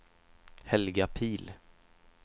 Helga Pihl